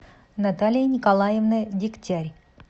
наталья николаевна дегтяй